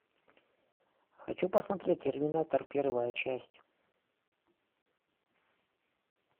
хочу посмотреть терминатор первая часть